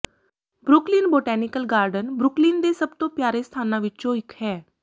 Brooklyn botanical garden Brooklyn ਦੇ ਸਭ ਤੋਂ ਪਿਆਰੇ ਸਥਾਨਾਂ ਵਿੱਚੋਂ ਇੱਕ ਹੈ